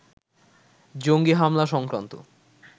জঙ্গি হামলা সংক্রান্ত